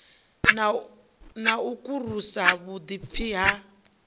na u karusa vhuḓipfi ha